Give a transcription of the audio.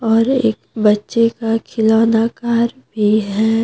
और एक बच्चे का खिलौना कार भी है।